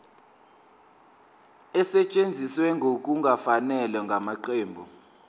esetshenziswe ngokungafanele ngamaqembu